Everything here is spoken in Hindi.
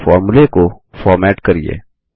अपने फॉर्मूले को फॉर्मेट करिये